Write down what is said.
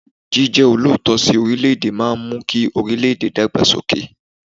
Jíjẹ́ olóòótọ́ sí orílẹ̀ẹ̀dè máa ń mú kí orílẹ̀ẹ̀dè dàgbà sókè.